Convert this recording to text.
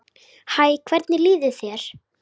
Hæ, hvernig líður þér?